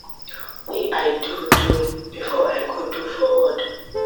wey i do do before i go do forward